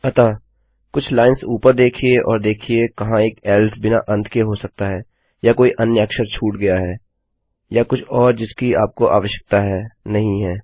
अतः कुछ लाइन्स ऊपर देखिये और देखिये कहाँ एक एल्स बिना अंत के हो सकता है या कोई अन्य अक्षर छूट गया है या कुछ और जिसकी आपको आवश्यकता है नहीं है